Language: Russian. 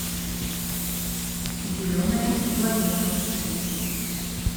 зеленая планета